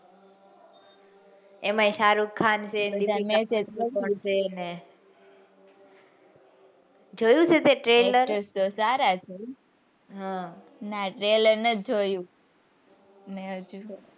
એમાંય શાહરૂખખાન છે દીપિકા પાદુકોણ છે જોયું તું તે trailer સારા છે હમ ના trailer નથ જોયું.